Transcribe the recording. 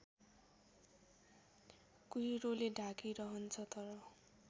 कुहिरोले ढाकिरहन्छ तर